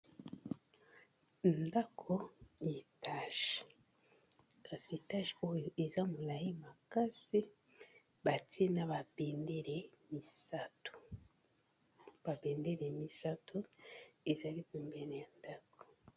Ndako etage, kasi etage oyo eza molai makasi ba tie na ba bendele misato ba bendele misatu ezali pembeni ya ndako.